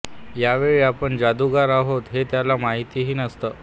यावेळी आपण जादूगार आहोत हे त्याला माहीतही नसतं